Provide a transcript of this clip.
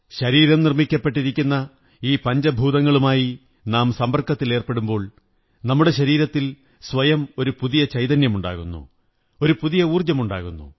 ശരീരം നിര്മി്ടാക്കപ്പെട്ടിരിക്കുന്ന ഈ പഞ്ചഭൂതങ്ങളുമായി നാം സമ്പര്ക്കതത്തിലാകുമ്പോൾ നമ്മുടെ ശരീരത്തിൽ സ്വയം ഒരു പുതിയ ചൈതന്യമുണ്ടാകുന്നു ഒരു പുതിയ ഊര്ജ്ജ മുണ്ടാകുന്നു